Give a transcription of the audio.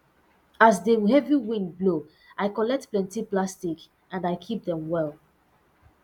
as the heavy wind blow i collect plenty plastic and i keep dem well